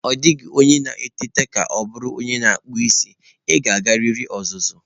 Ọ dịghị onye na-eteta ka ọ bụrụ onye na-akpụ isi, ị ga-agarịrị ọzụzụ.